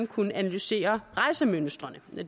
kunne analysere rejsemønstrene